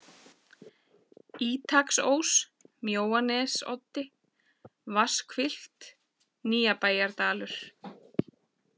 Ítaksós, Mjóanesoddi, Vatnshvilft, Nýjabæjardalur